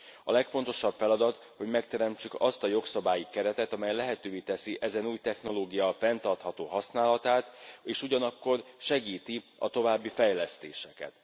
A legfontosabb feladat, hogy megteremtsük azt a jogszabályi keretet, amely lehetővé teszi ezen új technológia fenntartható használatát és ugyanakkor segíti a további fejlesztéseket.